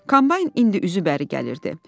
Kombayn indi üzü bəri gəlirdi.